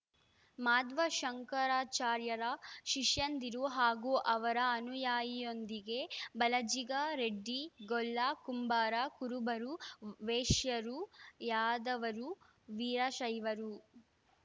ಮಾಧ್ವ ಶಂಕರಾಚಾರ್ಯರ ಶಿಷ್ಯಂದಿರು ಹಾಗೂ ಅವರ ಅನುಯಾಯಿಯೊಂದಿಗೆ ಬಲಜಿಗ ರೆಡ್ಡಿ ಗೊಲ್ಲ ಕುಂಬಾರ ಕುರುಬರು ವೈಶ್ಯರು ಯಾಧವರು ವೀರಶೈವರು